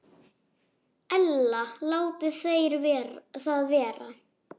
Ella láti þeir það vera.